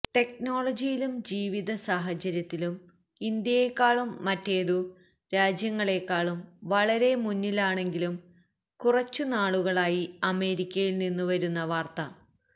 ടെക്നോളജിയിലും ജീവിത സാഹചര്യത്തിലും ഇന്ത്യയെക്കാളും മറ്റേതു രാജ്യങ്ങളെക്കാളും വളരെമുന്നിലാണെങ്കിലും കുറച്ചു നാളുകളായി അമേരിക്കയിൽ നിന്നും വരുന്ന വാർത്